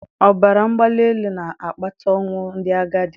Ọbara mgbali elu na-akpata ọnwụ ndị agadi